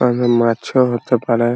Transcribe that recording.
তারপর মাছ ও হতে পারে ।